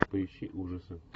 поищи ужасы